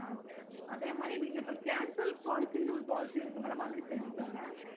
ஆஹ் அதே மாதிரி நீங்க cancel policy ன்னு ஒரு policy இருக்கு madam அதையும் தெரிஞ்சிக்கோங்க